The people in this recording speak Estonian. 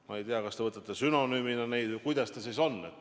Ma ei tea, kas te mõtlete neid sünonüümina või kuidas sellega siis on.